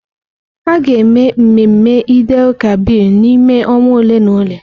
A ga-eme mmemme Eid-el-Kabir n'ime ọnwa ole na ole.